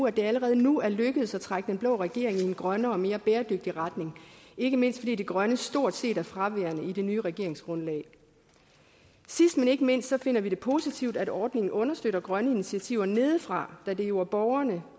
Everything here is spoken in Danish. at det allerede nu er lykkedes at trække den blå regering i en grønnere og mere bæredygtig retning ikke mindst fordi det grønne stort set er fraværende i det nye regeringsgrundlag sidst men ikke mindst finder vi det positivt at ordningen understøtter grønne initiativer nedefra da det jo er borgerne